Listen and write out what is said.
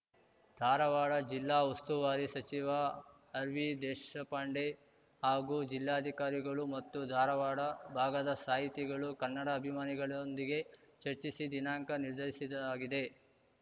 ಧಾರವಾಡ ಜಿಲ್ಲಾ ಉಸ್ತುವಾರಿ ಸಚಿವ ಆರ್‌ವಿ ದೇಶಪಾಂಡೆ ಹಾಗೂ ಜಿಲ್ಲಾಧಿಕಾರಿಗಳು ಮತ್ತು ಧಾರವಾಡ ಭಾಗದ ಸಾಹಿತಿಗಳು ಕನ್ನಡ ಅಭಿಮಾನಿಗಳೊಂದಿಗೆ ಚರ್ಚಿಸಿ ದಿನಾಂಕ ನಿರ್ಧರಿಸದಾಗಿದೆ